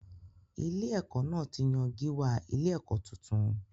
Ilé-ẹ̀kọ́ náà ti yan gíwá ilé-ẹ̀kọ́ tuntun.